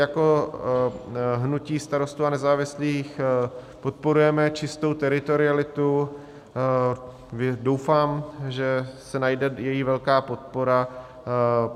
Jako hnutí Starostů a nezávislých podporujeme čistou teritorialitu, doufám, že se najde její velká podpora.